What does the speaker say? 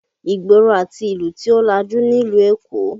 Ìgboro àti ìlú tí ó lajú nílùú Èkó